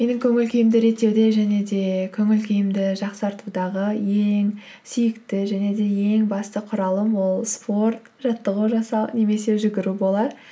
менің көңіл күйімді реттеуде және де көңіл күйімді жақсартудағы ең сүйікті және де ең басты құралым ол спорт жаттығу жасау немесе жүгіру болар